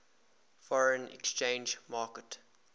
foreign exchange market